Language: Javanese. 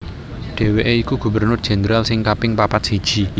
Dhèwèké iku Gubernur Jendral sing kaping papat siji